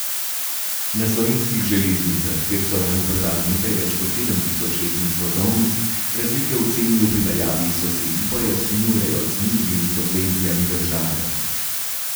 Na Slovenskih železnicah, kjer so lani prodali nekaj več kot sedem tisoč letnih vozovnic, razlike v ceni v primerjavi s sosedi pojasnjujejo z nižjimi subvencijami države.